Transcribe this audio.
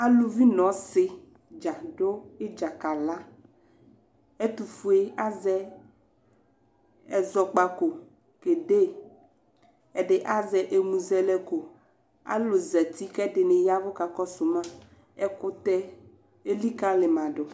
aluvi no ɔse dza do idza ka la ɛtofue azɛ ɛzɔkpako ke de ɛdi azɛ emuzɛlɛko alo zati ko ɛdini yavo ka kɔso ma ɛkotɛ elikale ma do